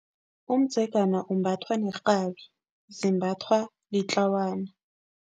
Umdzegana umbathwa nerhabi zimbathwa litlawana.